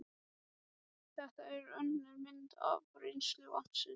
Þetta er önnur mynd af rennsli vatnsins en